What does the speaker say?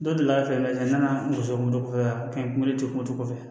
Dɔ delila ka fɛɛrɛ wɛrɛ nana muso moto la ka n m'o de kɛ moto kɔfɛ